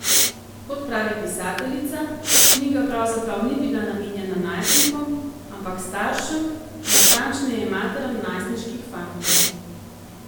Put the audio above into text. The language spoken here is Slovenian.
Kot pravi pisateljica, knjiga pravzaprav ni bila namenjena najstnikom, ampak staršem, natančneje materam najstniških fantov.